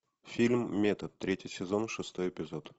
фильм метод третий сезон шестой эпизод